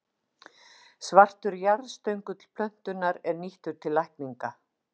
Svartur jarðstöngull plöntunnar er nýttur til lækninga.